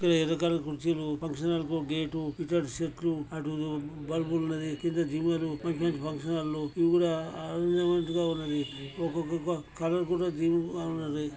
ఎర్ర కలర్ కుర్చీలు function hall కొ గేట్ ఇక్కడ చెట్లు అటు బల్బు ల ఉన్నది. ఫంక్షన్ హాల్ ల్లు ఇవి కూడా ఉన్నది.